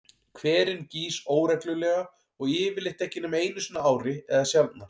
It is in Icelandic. Hverinn gýs óreglulega og yfirleitt ekki nema einu sinni á ári eða sjaldnar.